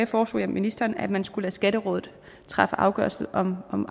foreslog jeg ministeren at man skulle lade skatterådet træffe afgørelse om om